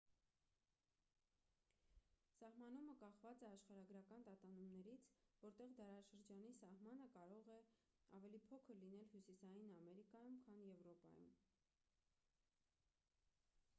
սահմանումը կախված է աշխարհագրական տատանումներից որտեղ դարաշրջանի սահմանը կարող է ավելի փոքր լինել հյուսիսային ամերիկայում քան եվրոպայում